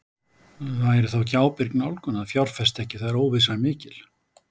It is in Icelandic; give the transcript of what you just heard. Væri þá ekki ábyrg nálgun að fjárfesta ekki þegar óvissa er mikil?